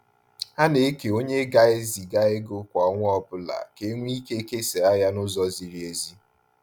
Ha na-eke onye ga eziga ego kwa ọnwa ọbụla ka enwe ike kesa ya na-ụzọ ziri ezi